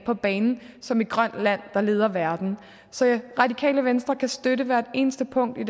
på banen som et grønt land der leder verden så radikale venstre kan støtte hvert eneste punkt i